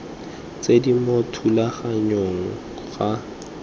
tse di mo thulaganyong ga